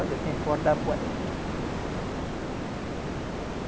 Olha, tem corda